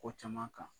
Ko caman kan